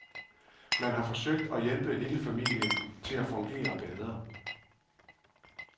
Man har forsøgt at hjælpe hele familien til at fungere bedre.